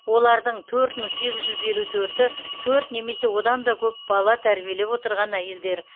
олардың төрт мың сегіз жүз елу төрті төрт немесе одан да көп бала тәрбиелеп отырған әйелдер